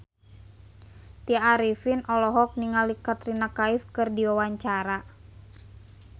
Tya Arifin olohok ningali Katrina Kaif keur diwawancara